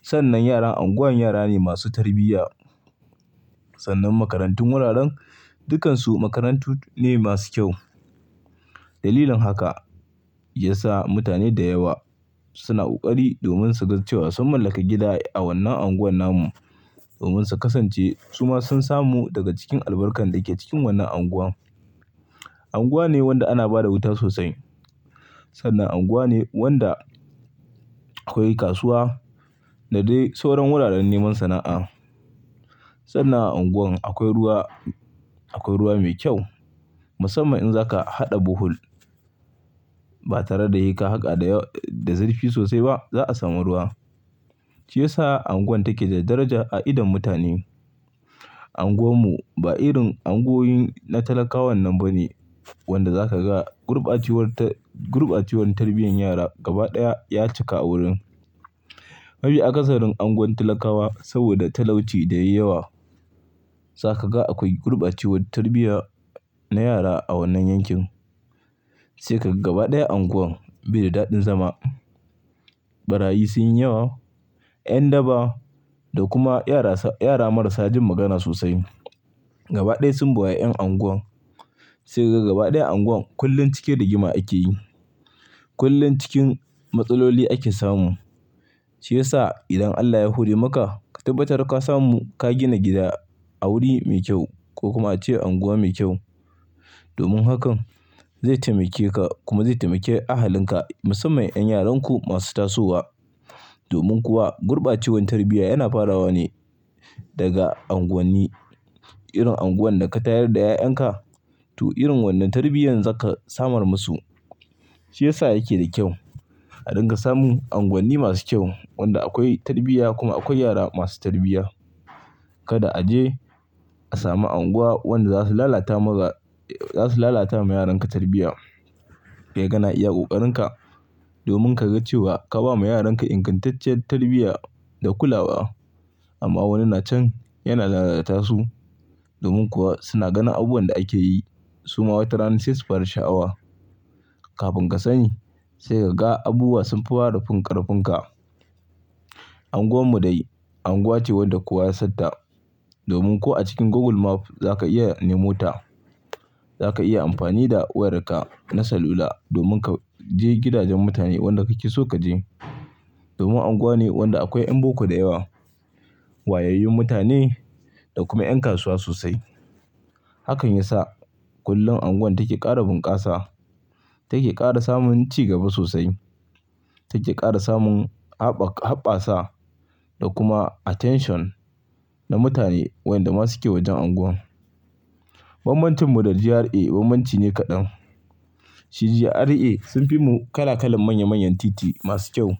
Sannan yaran anguwan yara ne masu tarbiyya. Sannan makarantun wuraren, dukansu makarantu ne masu kyau. Dalilin haka, ya sa mutane da yawa, suna ƙoƙari domin su ga cewa sun mallaki gida a wannan anguwar namu, domin su kasance su ma sun samu daga cikin albarkar da yake cikin wannan anguwa. Anguwa ne wanda ana ba da wuta sosai. Sannan unguwa ne wanda akwai kasuwa da dai sauran wuraren neman sana'a. Sannan a anguwar akwai ruwa mai kyau, musamman in zaka haɗa bohol ba tare da seka haka da zurfi sosai ba za ka samu ruwa. Shi ya sa anguwar take da daraja a idon mutane. Anguwar mu ba irin anguwoyi na talakawan wannan bane, wanda zaka ga gurbacewar tarbiyyar yara gaba ɗaya ya cika a wurin. Mafi aƙasarin anguwan talakawa, saboda talauci da yayi yawa, zaka ga akwai gurbacewar tarbiyya na yara a wannan yankin. Sai ka ga gaba ɗaya anguwan, bai da daɗin zama. Ɓarayi sun yi yawa, yan daba da kuma yara marasa jin magana sosai. Gaba ɗaya sun buwayi 'yan unguwan. Sai ka ga gaba ɗaya unguwan kullum cike da gima ake yi. Kullum cikin matsaloli ake samu. Shi ya sa idan Allah ya hore maka, ka tabbatar ka samu ka gina gida a wuri mai kyau, ko kuma ace anguwa mai kyau. Domin hakan zai taimake ka kuma zai taimake ahalinka, musamman 'yan yaranku masu tasowa. Domin kuwa, gurbacewar tarbiyya yana farawa ne daga unguwanni. Irin unguwar da ka tayar da 'ya'yanka to irin wannan tarbiyyar zaka samar musu. Shi ya sa yake da kyau, a dinga samun anguwanni masu kyau, wanda akwai tarbiyya kuma akwai yara masu tarbiyya. Kada a je a samu unguwa wanda za su lalata ma yaranka tarbiyya. Kai kana iya ƙoƙarinka domin ka ga cewa, ka ba ma yaranka ingantacciyar tarbiyya da kulawa amma wani nacan yana lalata su. Domin kuwa suna ganin abubuwan da ake yi, su ma watarana sai su fara sha'awa. Kafin ka sani sai ka ga abubuwa sun fara fin karfin ka. Unguwar mu dai, unguwa ce wadda kowa ya satta, domin ko a cikin Google Map za ka iya nemo ta. Za ka iya amfani da wayarka na salula, domin ka je gidajen mutane wanda kake so kaje. Domin unguwa ne wanda akwai 'yan boko da yawa, wayayyun mutane, da kuma 'yan kasuwa sosai. Hakan ya sa kullum anguwan take ƙara bunƙasa, take ƙara samun cigaba sosai, take ƙara samun haɓɓasa, da kuma attention na mutane wanda masu ke wajen unguwar. Banbancin mu da GRA banbanci ne kaɗan. Shi GRA, sun fi mu kala-kalan, manya-manyan titi masu kyau.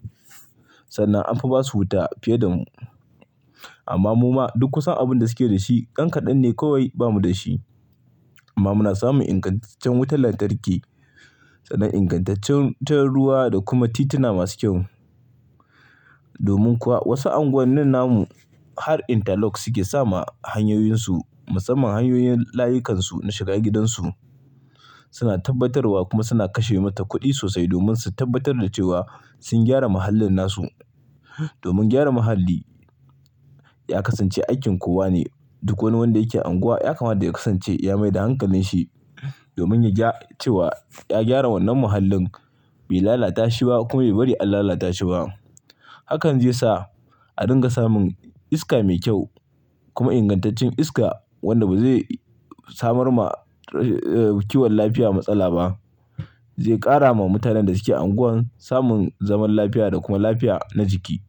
Sannan an fi ba su wuta fiye da mu. Amma mu ma duk kusan abin da suke da shi, ɗan ƙaɗen ne kawai bamu da shi. Amma muna samun ingantaccen wutar lantarki, sannan ingantaccen ruwa da kuma tituna masu kyau. Domin kuwa wasu unguwannin namu, har interlock suke sama hanyoyinsu, musamman hanyoyin layukansu, na shiga gidansu. Suna tabbatarwa, kuma suna kashe mata kuɗi sosai, domin su tabbatar da cewa sun gyara muhallin nasu. Domin gyara muhalli, ya kasance aikin kowa ne. Duk wani wanda yake anguwa ya kama da ya kasance ya mai da hankalin shi, domin ya gyara wannan muhallin, bai lalata shi ba, kuma bai bari an lalata shi ba. Hakan zai sa a dinga samun iska mai kyau, kuma ingantaccen iska, wanda ba zai samar ma kiwon lafiya matsala ba. Zai ƙara ma mutanen da suke anguwan samun zaman lafiya, da kuma lafiya na jiki.